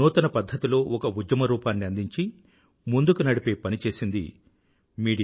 నూతన పధ్ధతిలో ఒక ఉద్యమ రూపాన్ని అందించి ముందుకు నడిపే పని చేసింది మీడియా